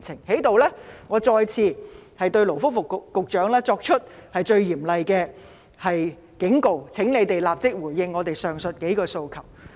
我在此再次向勞工及福利局局長作出最嚴厲的警告：請立即回應我們上述數個訴求。